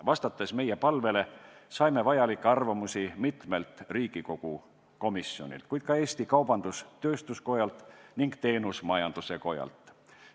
Vastates meie palvele, saadeti meile arvamusi mitmelt Riigikogu komisjonilt ja ka Eesti Kaubandus-Tööstuskojalt ning Teenusmajanduse Kojalt.